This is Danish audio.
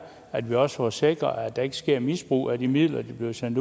at vi også får sikret at der ikke sker et misbrug af de midler der bliver sendt